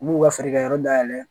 U b'u ka feerekɛyɔrɔ dayɛlɛ